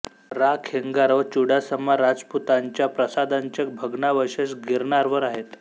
रा खेंगार व चुडासमा राजपुतांच्या प्रासादांचे भग्नावशेष गिरनारवर आहेत